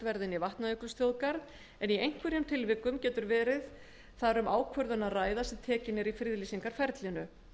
í vatnajökulsþjóðgarð en í einhverjum tilvikum getur verið þar um ákvörðun að ræða í friðlýsingarferlinu